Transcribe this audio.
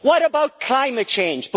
What about climate change?